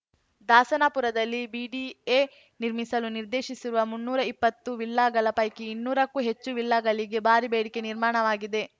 ದಾಸನಪುರದಲ್ಲಿ BDA ನಿರ್ಮಿಸಲು ನಿರ್ದೇಶಿರುವ ಮುನ್ನೂರಾ ಇಪ್ಪತ್ತು ವಿಲ್ಲಾಗಳ ಪೈಕಿ ಇನ್ನೂರಕ್ಕೂ ಹೆಚ್ಚು ವಿಲ್ಲಾಗಳಿಗೆ ಭಾರಿ ಬೇಡಿಕೆ ನಿರ್ಮಾಣವಾಗಿದೆ